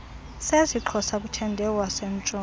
sesixhosa kuthende iwasentshona